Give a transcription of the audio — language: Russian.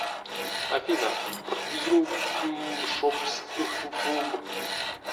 афина ртйлпмшобс ыхфлб